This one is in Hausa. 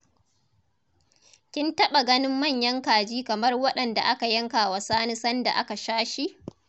Kin taɓa ganin manyan kaji kamar waɗanda aka yanka wa sani sanda aka sha shi?